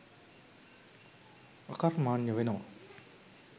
අකර්මණ්‍ය වෙනවා.